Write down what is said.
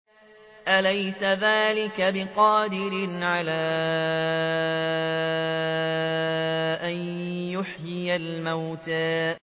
أَلَيْسَ ذَٰلِكَ بِقَادِرٍ عَلَىٰ أَن يُحْيِيَ الْمَوْتَىٰ